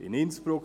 In Innsbruck.